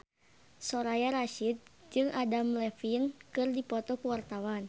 Soraya Rasyid jeung Adam Levine keur dipoto ku wartawan